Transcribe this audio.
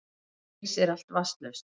Eins er allt vatnslaust